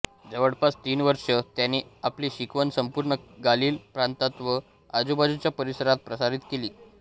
जवळपास तीन वर्ष त्याने आपली शिकवण संपूर्ण गालील प्रांतात व आजूबाजूच्या परिसरात प्रसारित केली